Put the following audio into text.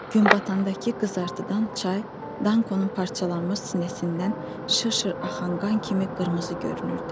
Gün batandaı qızartıdan çay, Dankonun parçalanmış sinəsindən şır-şır axan qan kimi qırmızı görünürdü.